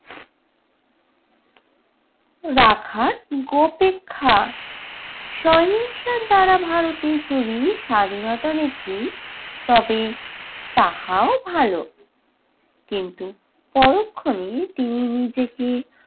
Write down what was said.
রাখার গো অপেক্ষা। সহিংসার দ্বারা ভারতে চুরি স্বাধীনতা দেখি তবে তাহাও ভালো। কিন্তু পরক্ষণে তিনি নিজেকে